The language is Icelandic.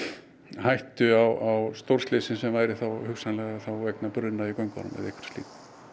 hættu á stórslysi sem væri þá hugsanlega vegna bruna í göngunum eða einhverju slíku